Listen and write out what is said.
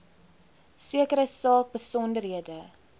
sekere saak besonderhede